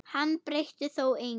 Hann breytti þó engu.